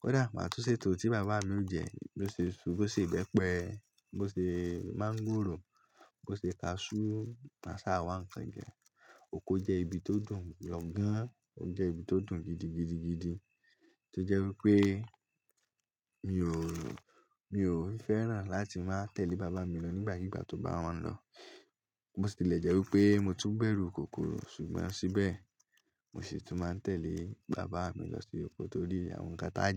Kódà màá tún ṣe ètò tí bàbá mi ó jẹ. Bí ó ṣe su, bí ó ṣe ìbẹpẹ, bí ó ṣe máńgòrò, bí ó ṣe kaṣú, màá sá àwọn ǹkan jẹ. Oko jẹ́ ibi tó dùn. Gán, ó jẹ́ ibi tó dùn gidigidigidi tó jẹ́ wípé mi ò, mi ò fẹ́ràn láti máa tẹ̀lé bàbá mi lọ nígbàkigbà tó bá máa ń lọ. Mo sì lè jẹ́ wípé mo tún bẹ̀rù kòkòrò. Ṣùgbọ́n síbẹ̀, mo sì tún máa ń tẹ̀lé bàbá mi lọ sí oko torí àwọn ǹkan táà jẹ.